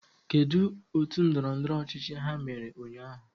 Kedu otu ndọrọndọrọ ọchịchị ha mere ụnyahụ?